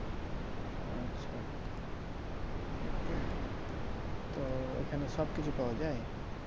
আচ্ছা তো এখানে সবকিছু পাওয়া যায়